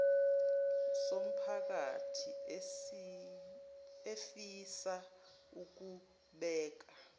somphakathi efisa ukubeka